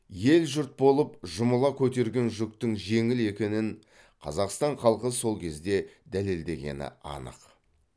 ел жұрт болып жұмыла көтерген жүктің жеңіл екенін қазақстан халқы сол кезде дәлелдегені анық